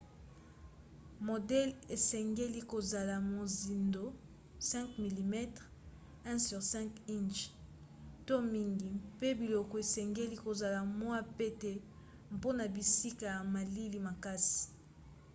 modele esengeli kozala mozindo 5 mm 1/5 inch to mingi mpe biloko esengeli kozala mwa pete mpona bisika ya malili makasi